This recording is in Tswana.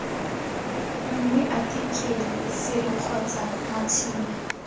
nngwe athikele sere kgotsa matšhini